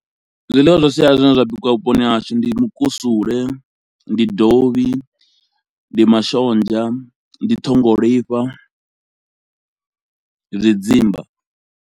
Zwiḽiwa zwa sialala zwine zwa bikiwa vhuponi ha hashu ndi mukusule, ndi dovhi, ndi mashonzha, ndi ṱhongolifha, ndi zwi dzimba.